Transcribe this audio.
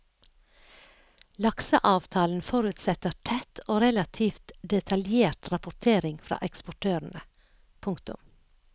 Lakseavtalen forutsetter tett og relativt detaljert rapportering fra eksportørene. punktum